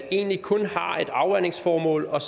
egentlig kun har et afvandingsformål og